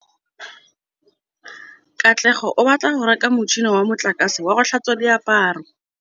Katlego o batla go reka motšhine wa motlakase wa go tlhatswa diaparo.